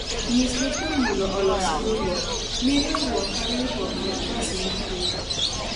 nyisi jopur mondo olos riwruok , mi riwruok ka riwruok kalatas mar ndiko